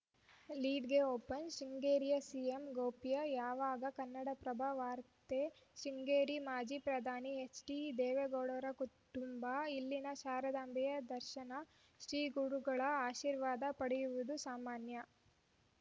ಲೀಡ್‌ಗೆ open ಶೃಂಗೇರಿಯಲ್ಲಿ CM ಗೌಪ್ಯ ಯಾವಗ ಕನ್ನಡಪ್ರಭ ವಾರ್ತೆ ಶೃಂಗೇರಿ ಮಾಜಿ ಪ್ರಧಾನಿ ಎಚ್‌ಡಿದೇವೇಗೌಡರ ಕುಟುಂಬ ಇಲ್ಲಿನ ಶಾರದಾಂಬೆಯ ದರ್ಶನ ಶ್ರೀಗುರುಗಳ ಆಶೀರ್ವಾದ ಪಡೆಯುವುದು ಸಾಮಾನ್ಯ